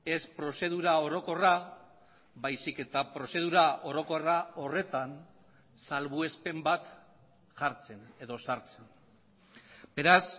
ez prozedura orokorra baizik eta prozedura orokorra horretan salbuespen bat jartzen edo sartzen beraz